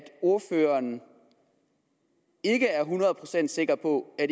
ordføreren ikke er hundrede procent sikker på at